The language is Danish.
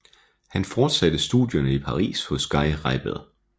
Han fortsatte studierne i Paris hos Guy Reibel